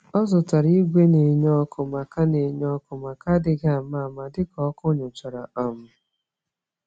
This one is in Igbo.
Ọ zụtara igwe nenye ọkụ, maka nenye ọkụ, maka adighi ama-ama, dịka ọkụ nychara um